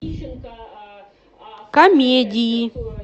комедии